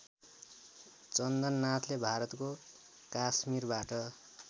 चन्दननाथले भारतको काश्मीरबाट